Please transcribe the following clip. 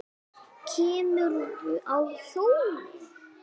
kemurðu á hjóli?